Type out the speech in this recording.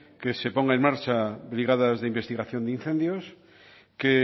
que se pongan en marcha brigadas de investigación de incendios que